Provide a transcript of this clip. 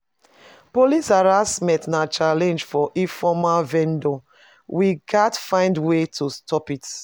Police harassment na challenge for informal vendors; we gats find ways to stop it.